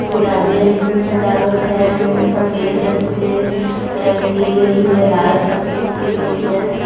गुलाबी रंग की सजावट है उसे पे सफेद रंग से की गई है लाल रंग से की गई है।